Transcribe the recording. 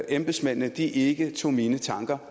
embedsmændene ikke tog mine tanker